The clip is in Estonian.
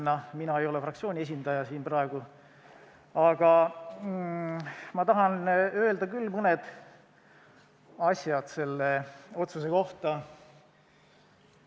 Mina ei ole siin praegu fraktsiooni esindaja, aga ma taha mõne asja selle otsuse kohta öelda küll.